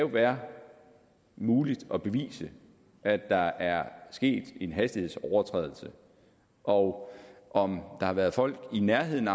være muligt at bevise at der er sket en hastighedsovertrædelse og om der har været folk i nærheden af